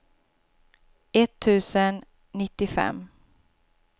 etttusen nittiofem